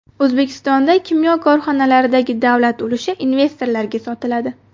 O‘zbekistonda kimyo korxonalaridagi davlat ulushi investorlarga sotiladi.